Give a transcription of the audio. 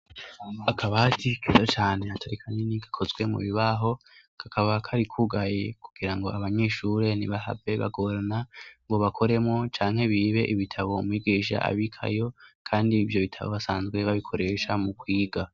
Akabati keza cane hatari kanyeni gakozwe mu bibaho kakaba karikugaye kugira ngo abanyishure ni bahave bagorana ngo bakoremo canke bibe ibitabo migisha abikayo, kandi ivyo bitabo basanzwe babikoresha mu kwiga.